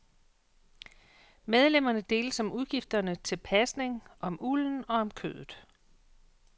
Medlemmerne deles om udgifterne til pasning, om ulden og om kødet.